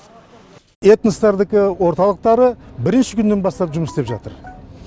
эностардыкі орталықтары бірінші күннен бастап жұмыс істеп жатыр